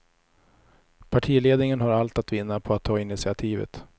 Partiledningen har allt att vinna på att ta initiativet.